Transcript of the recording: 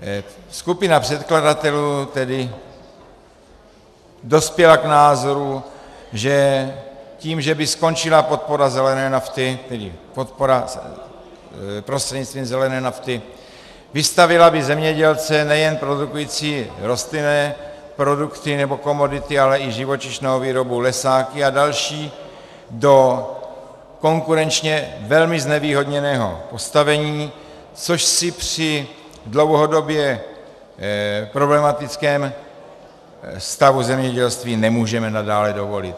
Skupina předkladatelů tedy dospěla k názoru, že tím, že by skončila podpora zelené nafty, tedy podpora prostřednictvím zelené nafty, vystavila by zemědělce nejen produkující rostlinné produkty nebo komodity, ale i živočišnou výrobu, lesáky a další do konkurenčně velmi znevýhodněného postavení, což si při dlouhodobě problematickém stavu zemědělství nemůžeme nadále dovolit.